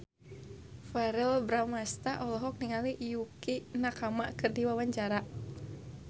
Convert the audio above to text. Verrell Bramastra olohok ningali Yukie Nakama keur diwawancara